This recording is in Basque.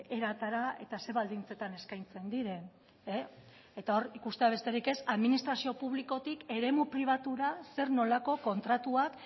eratara eta ze baldintzetan eskaintzen diren eta hor ikustea besterik ez administrazio publikotik eremu pribatura zer nolako kontratuak